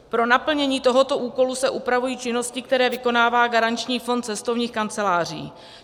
Pro naplnění tohoto úkolu se upravují činnosti, které vykonává garanční fond cestovních kanceláří.